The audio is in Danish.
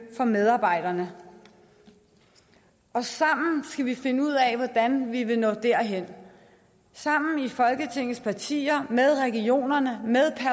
for medarbejderne og sammen skal vi finde ud af hvordan vi når derhen folketingets partier skal med regionerne